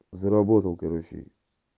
заработал короче